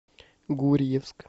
гурьевск